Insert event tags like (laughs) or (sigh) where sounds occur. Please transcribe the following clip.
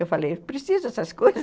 Eu falei, preciso dessas coisas (laughs)